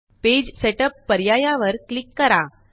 page setup पर्यायावर click करा